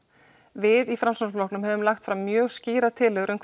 við í Framsóknarflokknum höfum lagt fram mjög skýrar tillögur um